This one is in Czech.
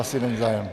Asi není zájem.